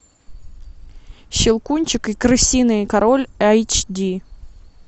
щелкунчик и крысиный король эйч ди